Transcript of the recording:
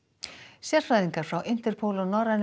sérfræðingar frá Interpol og norrænum